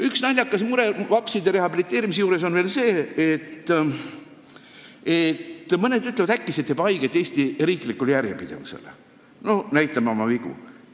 Üks naljakas mure seoses vapside rehabiliteerimisega on see, et mõned ütlevad, et äkki see riivab Eesti riiklikku järjepidevust – me ju näitame oma vigu.